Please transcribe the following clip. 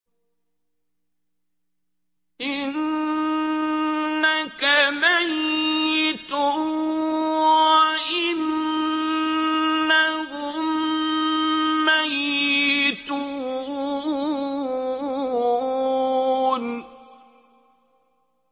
إِنَّكَ مَيِّتٌ وَإِنَّهُم مَّيِّتُونَ